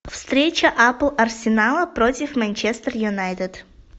встреча апл арсенала против манчестер юнайтед